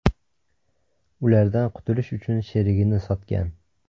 ulardan qutulish uchun sherigini sotgan.